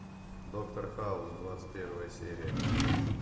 доктор хаус двадцать первая серия